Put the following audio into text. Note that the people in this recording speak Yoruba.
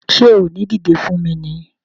Ṣé o ò ní dìdé fún mi ni!